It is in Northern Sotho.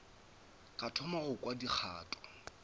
ka thoma go kwa dikgato